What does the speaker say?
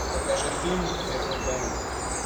покажи фильм вернуть бена